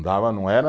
Dava, não era.